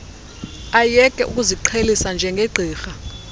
ayeke ukuziqhelisa njengegqirha